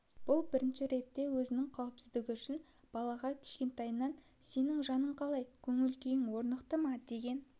бұл бірінші ретте өзінің қауіпсіздігі үшін балаға кішкентайынан сенің жаның қалай көңіл-күйің орнықты ма деген